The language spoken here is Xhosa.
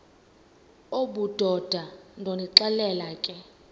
obudoda ndonixelela ke